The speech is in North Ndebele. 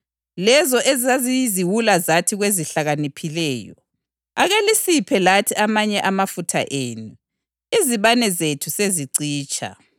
Lezo ezaziyiziwula zathi kwezihlakaniphileyo, ‘Ake lisiphe lathi amanye amafutha enu; izibane zethu sezicitsha.’